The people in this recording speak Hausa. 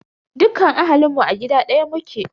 Dukkan ahalinmu a gida ɗaya muke.